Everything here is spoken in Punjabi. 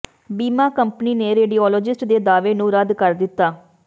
ਬੀਮਾ ਕੰਪਨੀ ਨੇ ਰੇਡੀਓਲੋਜਿਸਟ ਦੇ ਦਾਅਵੇ ਨੂੰ ਰੱਦ ਕਰ ਦਿੱਤਾ